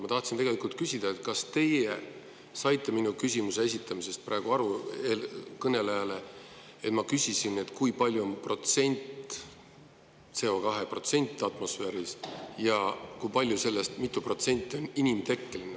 Ma tahtsin küsida, kas teie saite praegu minu küsimusest eelkõnelejale aru nii, et ma küsisin, kui suur on CO2 protsent atmosfääris ja kui mitu protsenti sellest on inimtekkeline.